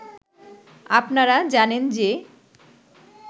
আপনারা জানেন যে